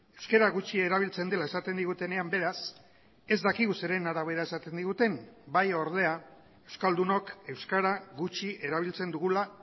euskara gutxi erabiltzen dela esaten digutenean beraz ez dakigu zeren arabera esaten diguten bai ordea euskaldunok euskara gutxi erabiltzen dugula